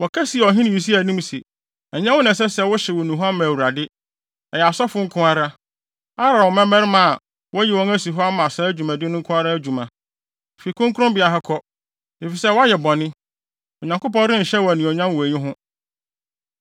Wɔka sii ɔhene Usia anim se, “Ɛnyɛ wo Usia na ɛsɛ sɛ wohyew nnuhuam ma Awurade. Ɛyɛ asɔfo nko ara, Aaron mmabarima a, wɔayi wɔn asi hɔ ama saa dwumadi no nko ara adwuma. Fi kronkronbea ha kɔ, efisɛ woayɛ bɔne. Onyankopɔn renhyɛ wo anuonyam wɔ eyi ho.”